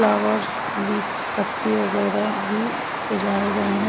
Flowers leaf पत्ते वगैरह भी सजाये गए है।